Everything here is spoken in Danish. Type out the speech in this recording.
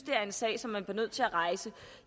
er en sag som man bliver nødt til at rejse